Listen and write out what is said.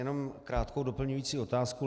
Jenom krátkou doplňující otázku.